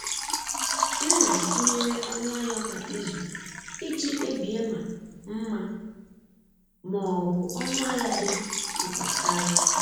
M na-atụnyere ọnụ ahịa kwa izu iji kpebie ma mma ma ọ bụ ọnụ ahịa dị mkpa karị.